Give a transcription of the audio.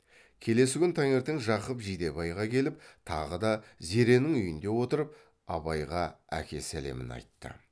келесі күн таңертең жақып жидебайға келіп тағы да зеренің үйінде отырып абайға әке сәлемін айтты